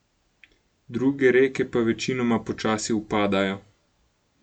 Druge reke pa večinoma počasi upadajo.